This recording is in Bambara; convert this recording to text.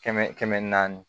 Kɛmɛ kɛmɛ naani